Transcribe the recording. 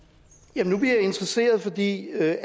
nu bliver jeg interesseret er det